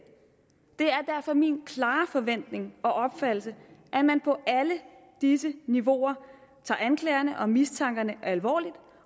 er derfor min klare forventning og opfattelse at man på alle disse niveauer tager anklagerne og mistankerne alvorligt